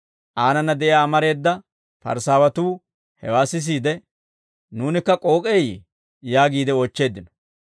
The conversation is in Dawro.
Aanana de'iyaa amareeda Parisaawatuu hewaa sisiide, «Nuunikka k'ook'eyee?» yaagiide oochcheeddino.